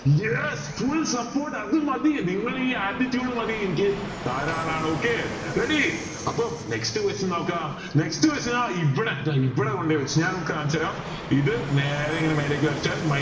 yes full support അത് മതി നിങ്ങളെ ഈ attitude മതി എനിക്ക് ധാരാളാണ് okay ready അപ്പൊ next question നോക്ക next question ആ ഇവിടെ ദാ ഇവിടെ കൊണ്ടുപോയി വെച്ചിന് ഞാൻ ഇങ്ങൾക്ക് കണിച്ചരാം ഇത് നേരെ ഇങ്ങനെ മേലേക്ക് വലിച്ചാൽ